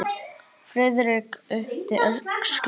Friðrik yppti öxlum.